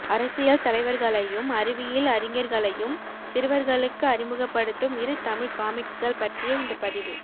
அரசியல் தலைவர்களையும் அறிவியில் அறிஞர்களையும் சிறுவர்களுக்கு அறிமுகப்படுத்தும் இரு தமிழ் காமிக்ஸ்கள் பற்றியே இந்த பதிவு